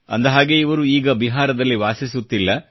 ಅಂದಹಾಗೆ ಅವರು ಈಗ ಬಿಹಾರದಲ್ಲಿ ವಾಸಿಸುತ್ತಿಲ್ಲ